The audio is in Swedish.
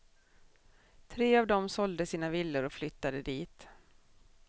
Tre av dem sålde sina villor och flyttade dit.